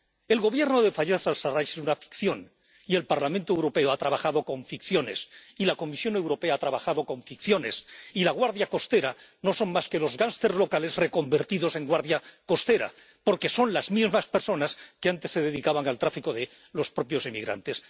El Gobierno de Fayez al Sarrach es una ficción y el Parlamento Europeo ha trabajado con ficciones y la Comisión Europea ha trabajado con ficciones y la Guardia Costera no son más que los gánsteres locales reconvertidos en guardia costera, porque son las mismas personas que antes se dedicaban al tráfico de los propios inmigrantes.